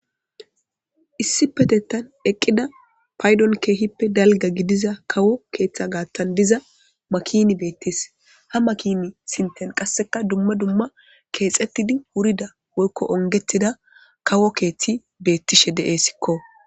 issipetetan eqqida paydon keehippe dalga gidiza kawo keeththa gaattan diza makin beettis ha makini sinten qasseka dumma dumma keexettidi wurida woykko ongettida kawo keeththi beettishe deesikko.